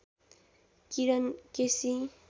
Kiran KC